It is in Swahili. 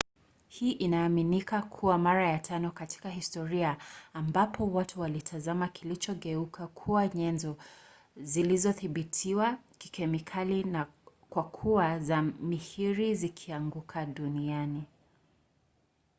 hii inaaminika kuwa mara ya tano katika historia ambapo watu walitazama kilichogeuka kuwa nyenzo zilizothibitiwa kikemikali kuwa za mihiri zikianguka duniani